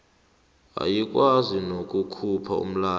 ayikwazi nokukhupha umlayo